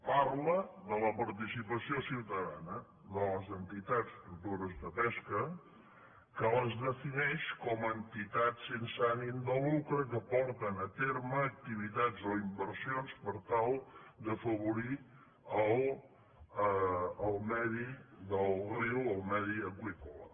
parla de la participació ciutadana de les entitats tutores de pesca que les defineix com a entitats sense ànim de lucre que porten a terme activitats o inversions per tal d’afavorir el medi del riu el medi aqüícola